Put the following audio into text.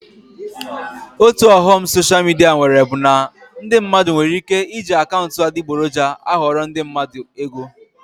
Otu ọghọm soshal midia nwere bụ na ndị mmadụ nwere ike iji akaụntụ adịgboroja aghọrọ ndị mmadụ ego